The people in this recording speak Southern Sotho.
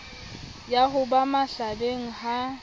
ya ho ba mahlabeng ha